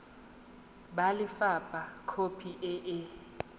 ba lefapha khopi e e